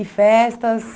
E festas?